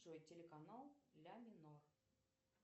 джой телеканал ля минор